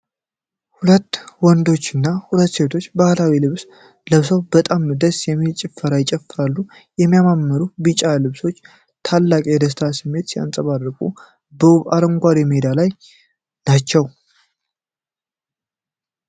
ሁለት ወንዶችና ሁለት ሴቶች ባህላዊ ልብስ ለብሰው በጣም ደስ የሚል ጭፈራ ይጨፍራሉ። በሚያማምሩ ቢጫ ልብሶቻቸው ታላቅ የደስታ ስሜት ሲንፀባረቅ፣ በውብ አረንጓዴ ሜዳ ላይ ናቸው።